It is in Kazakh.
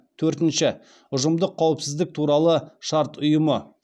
төртінші ұжымдық қауіпсіздік туралы шарт ұйымы